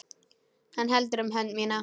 Hann heldur um hönd mína.